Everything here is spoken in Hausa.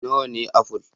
Nawa ne aful?